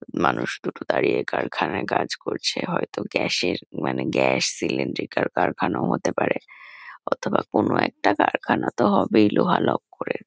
মানুষ দুটো দাঁড়িয়ে কারখানায় কাজ করছে। হয়তো গ্যাস -এর মানে গ্যাস সিলিন্ড্রিক -এর কারখানাও হতে পারে। অথবা কোনো একটা কারখানা তো হবেই লোহা-লক্করের।